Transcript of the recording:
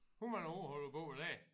Hvor mange år har du boet der?